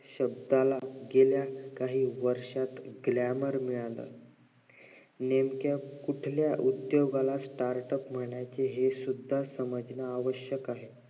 शब्दाला जो काय वर्षात glamour मिळालाय नेमक्या कोणत्या उद्दोगाला startup समजणं हे सुद्धा समजणं आवश्यक आहे